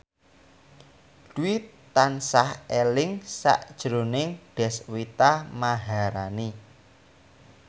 Dwi tansah eling sakjroning Deswita Maharani